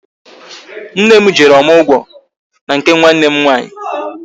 Nne m jere ọmụgwọ n'nke nwanne m nwaanyị